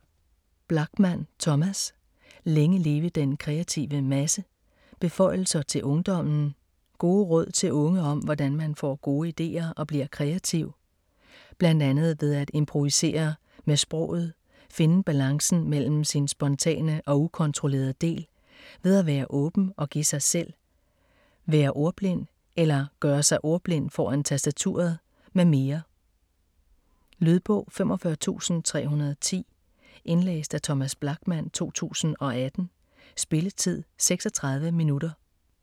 Blachman, Thomas: Længe leve den kreative masse: beføjelser til ungdommen Gode råd til unge om hvordan man får gode idéer og bliver kreativ. Bl.a. ved at improvisere med sproget, finde balancen mellem sin spontane og ukontrollerede del, ved at være åben og give sig selv, være ordblind (eller gøre sig ordblind foran tastaturet), med mere. Lydbog 45310 Indlæst af Thomas Blachman, 2018. Spilletid: 0 timer, 36 minutter.